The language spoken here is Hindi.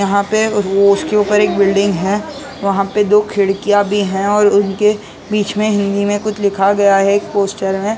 यहाँ पे वो उसके ऊपर एक बिल्डिंग है वहाँ पे दो खिड़कियां भी है और उनके बीच मे हिन्दी में कुछ लिखा गया है पोस्टर में--